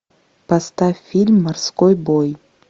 поставь фильм морской бой